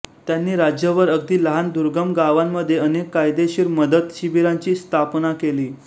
त्यांनी राज्यभर अगदी लहान दुर्गम गावांमध्ये अनेक कायदेशीर मदत शिबीरांची स्थापना केली